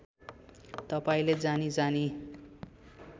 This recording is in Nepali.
तपाईँले जानी जानी